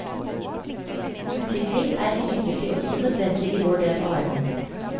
Utvikling er imidlertid også nødvendig i vår del av verden.